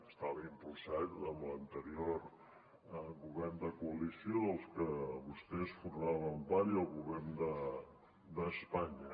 estava impulsat amb l’anterior govern de coalició del que vostès formaven part i el govern d’espanya